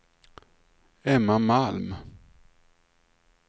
Emma Malm